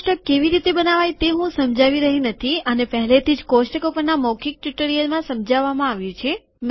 આ કોષ્ટક કેવી રીતે બનાવાય તે હું સમજાવી રહ્યો નથીઆને પહેલેથી જ કોષ્ટકો પરના મૌખીક ટ્યુટોરીયલમાં સમજાવવામાં આવ્યું છે